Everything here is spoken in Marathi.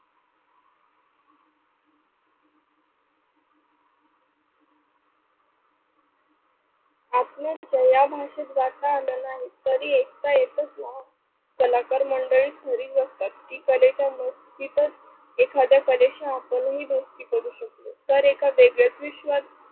आपल्या भाषेत घातला नाही तरी ऐकता येतच ना. कलाकार मंडळी खरी गोष्ट कलेच्या एखाद्या कलेशी आपणही दोस्ती करू शकतो. तर एका वेगळ्याच विश्वात